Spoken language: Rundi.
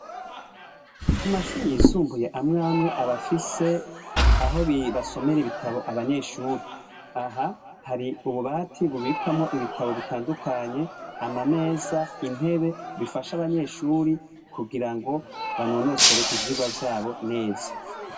Kumashuri yisumbuye amwe amwe abafise aho basomere ibitabo abanyeshuri, aha hari ububati bubikwamwo ibitabo bitandukanye amameza intebe bifasha abanyeshuri kugira ngo banonosore ivyirwa vyabo neza.